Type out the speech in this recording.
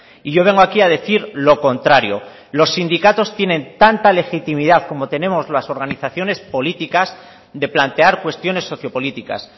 y yo vengo a aquí a decir lo contrario los sindicatos tienen tanta legitimidad como tenemos las organizaciones políticas de plantear cuestiones sociopolíticas